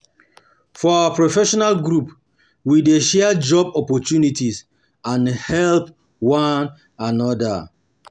For our professional group, we dey share job opportunities and help one another.